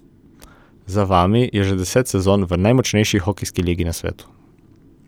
Za vami je že deset sezon v najmočnejši hokejski ligi na svetu.